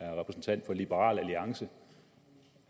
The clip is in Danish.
er repræsentant for liberal alliance